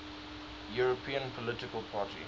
european political party